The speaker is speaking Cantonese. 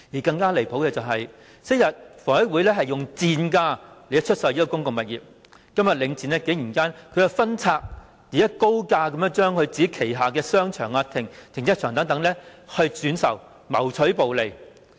更離譜的是，昔日房委會以賤價出售公共物業，今日領展竟然分拆及以高價轉售旗下的商場及停車場，謀取暴利。